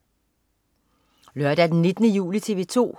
Lørdag den 19. juli - TV 2: